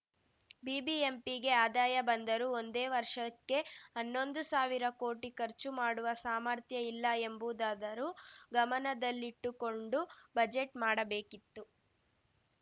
ಬಿಬಿಎಂಪಿಗೆ ಆದಾಯ ಬಂದರೂ ಒಂದೇ ವರ್ಷಕ್ಕೆ ಹನ್ನೊಂದು ಸಾವಿರ ಕೋಟಿ ಖರ್ಚು ಮಾಡುವ ಸಾಮರ್ಥ್ಯ ಇಲ್ಲ ಎಂಬುದಾದರೂ ಗಮನದಲ್ಲಿಟ್ಟುಕೊಂಡು ಬಜೆಟ್‌ ಮಾಡಬೇಕಿತ್ತು